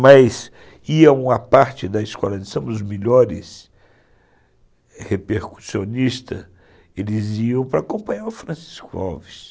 Mas iam à parte da Escola de Samba, os melhores repercussionistas, eles iam para acompanhar o Francisco Alves.